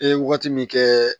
E ye waati min kɛ